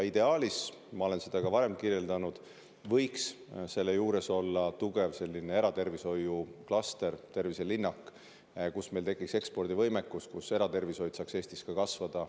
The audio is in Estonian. Ideaalis, nagu ma olen varemgi kirjeldanud, võiks selle juures olla tugev eratervishoiuklaster, terviselinnak, kus meil tekiks ekspordivõimekus ja kus eratervishoid saaks Eestis kasvada.